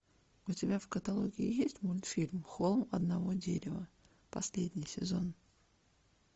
у тебя в каталоге есть мультфильм холм одного дерева последний сезон